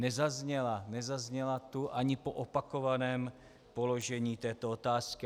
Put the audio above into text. Nezazněla tu ani po opakovaném položení této otázky.